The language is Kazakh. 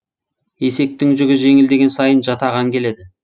есектің жүгі жеңілдеген сайын жатаған келеді